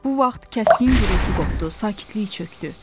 Bu vaxt kəskin gurultu qopdu, sakitlik çökdü.